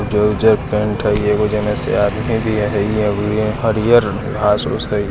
उज्जर उज्जर पैंट हाई एगो जेने से आदमी भी हई हरियर घास उस हई ।